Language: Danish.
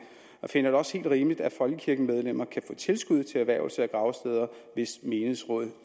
og jeg finder det også helt rimeligt at folkekirkemedlemmer kan få tilskud til erhvervelse af gravsteder hvis menighedsrådet